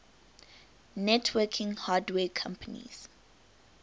networking hardware companies